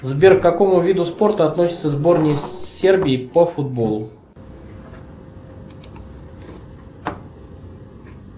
сбер к какому виду спорта относится сборная сербии по футболу